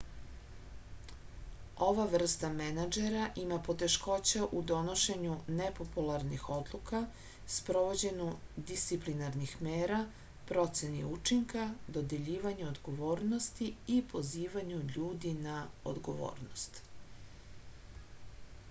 ova vrsta menadžera ima poteškoća u donošenju nepopularnih odluka sprovođenju disciplinarnih mera proceni učinka dodeljivanju odgovornosti i pozivanju ljudi na odgovornost